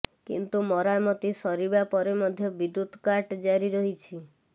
କିନ୍ତୁ ମରାମତି ସରିବା ପରେ ମଧ୍ୟ ବିଦ୍ୟୁତ୍ କାଟ୍ ଜାରି ରହିଛି